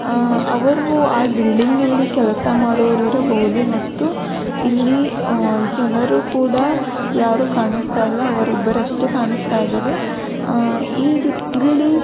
ಆ ಅವರು ಆ ಬಿಲ್ಡಿಂಗ್ ನಲ್ಲಿ ಕೆಲಸ ಮಾಡೋರು ಇರಬಹುದು ಮತ್ತು ಇಲ್ಲಿ ಆ ಜನರು ಕೂಡ ಯಾರೂ ಕಾಣಿಸ್ತಾ ಇಲ್ಲ ಅವರಿಬ್ಬರಷ್ಟೇ ಕಾಣಿಸ್ತಾ ಇದ್ದಾರೆ. ಆ ಈ ಇಲ್ಲಿ--